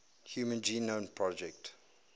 human genome project